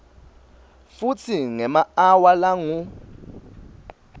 futsi ngemaawa langu